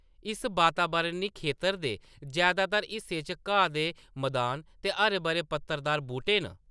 इस बातावरणी खेतरा दे जैदातर हिस्से च घाऽ दे मदान ते हरे-भरे पत्तरदार बूह्‌‌टे न।